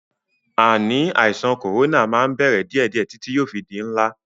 Ànì àìsàn kòrónà máa ń bẹ̀rẹ̀ díẹ̀díè títí yóò fi di ńlá.